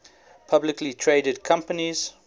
publicly traded companies